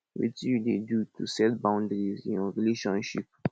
wetin you dey do to set boundaries in your relationships